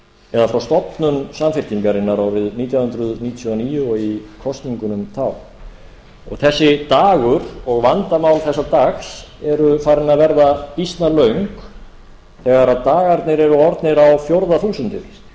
eða frá stofnun samfylkingarinnar árið nítján hundruð níutíu og níu og í kosningunum þá þessi dagur og vandamál þessa dags eru farin að vera býsna löng þegar dagarnir eru orðnir á fjórða þúsundið